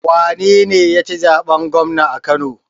Wanene yaci zaɓen gwamna a kano?